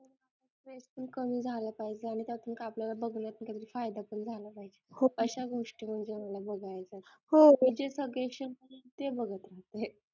काही झालं पाहिजे आणि त्यातून काही आपल्याला बघण्यात काहीतरी फायदा झालं पाहिजे अशा गोष्टी बघायच्या जे suggestions येतील ते बघत राहते